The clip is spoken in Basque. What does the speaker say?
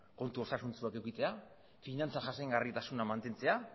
kontu osasuntsuak edukitzea finantza jasangarritasuna mantentzea